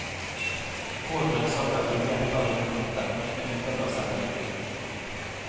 Rå grønnsaker gir mer plager enn kokte, med unntak av selleri.